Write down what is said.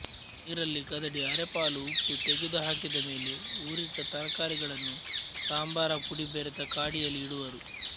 ನೀರಲ್ಲಿ ಕದಡಿ ಅರೆಪಾಲು ಉಪ್ಪು ತೆಗೆದುಹಾಕಿದಮೇಲೆ ಊರಿಟ್ಟ ತರಕಾರಿಗಳನ್ನು ಸಂಬಾರ ಪುಡಿ ಬೆರೆತ ಕಾಡಿಯಲ್ಲಿ ಇಡುವರು